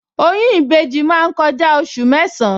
Oyún ìbejì máa ń kọjá oṣù mẹ́san-án